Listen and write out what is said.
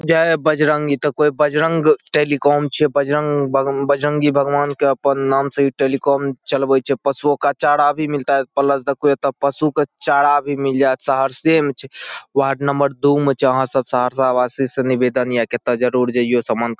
जय बजरंगी ई त कोई बजरंग टेलीकॉम छे। बजरंग भ बजरंगी भगवान के अपन नाम से ई टेलीकॉम चलवई छे। पशुओं का चारा भी मिलता है प्लस देखो ये तो पशु का चारा भी मिल जाए। सहरसे में छे वार्ड नंबर दू में छे। वहाँ सब सहरसा वासी से निवेदन ये है की ता जरूर जईओ सामान --